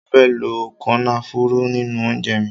Mo fe lo kònáfùrù ninu ounje mi